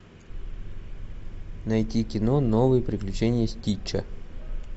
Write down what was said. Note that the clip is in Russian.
найти кино новые приключения стича